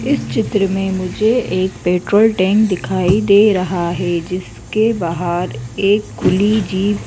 इस चित्र में मुझे एक पेट्रोल टैंक दिखाई दे रहा है जिसके बाहर एक खुली जीप --